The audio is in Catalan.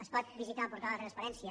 es pot visitar el portal de la transparència